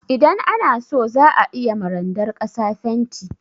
Idan ana so za a iya ma randar ƙasa fenti.